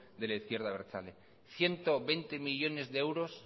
de la izquierda abertzale ciento veinte millónes de euros